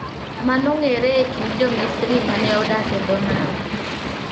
Mane ong'ere e kind Jo-Misri ma ne odak e dho nam.